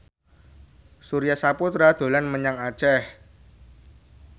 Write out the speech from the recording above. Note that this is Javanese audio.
Surya Saputra dolan menyang Aceh